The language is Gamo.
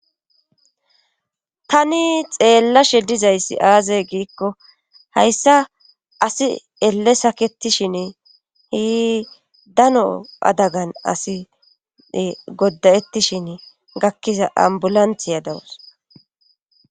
tani xeellashe dizayssi aazey giikko hayssa asi ele sakettishin hi dano adagan asi goddayettishin gakkiza ambulanthiya dawus